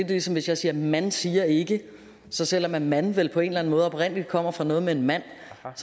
ligesom hvis jeg siger man siger ikke så selv om man vel på en eller anden måde oprindelig kommer fra noget med en mand